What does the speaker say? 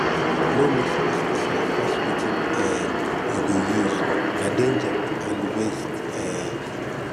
no mix pesticide pass wetin um you go use na danger and waste um